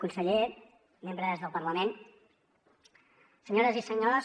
conseller membres del parlament senyores i senyors